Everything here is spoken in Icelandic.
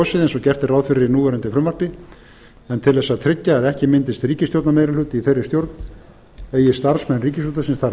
og gert er ráð fyrir í núverandi frumvarpi en til þess að tryggja að ekki myndist ríkisstjórnarmeirihluti í þeirri stjórn eigi starfsmenn ríkisútvarpsins þar